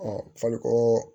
faliko